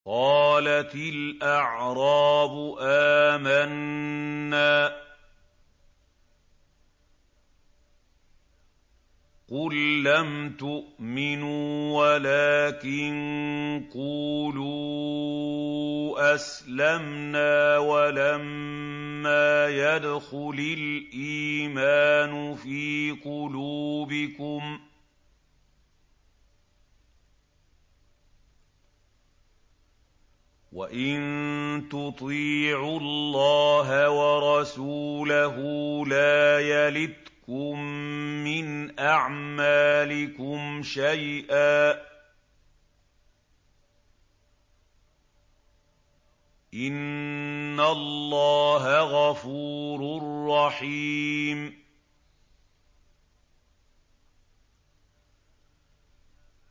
۞ قَالَتِ الْأَعْرَابُ آمَنَّا ۖ قُل لَّمْ تُؤْمِنُوا وَلَٰكِن قُولُوا أَسْلَمْنَا وَلَمَّا يَدْخُلِ الْإِيمَانُ فِي قُلُوبِكُمْ ۖ وَإِن تُطِيعُوا اللَّهَ وَرَسُولَهُ لَا يَلِتْكُم مِّنْ أَعْمَالِكُمْ شَيْئًا ۚ إِنَّ اللَّهَ غَفُورٌ رَّحِيمٌ